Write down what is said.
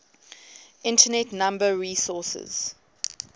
internet number resources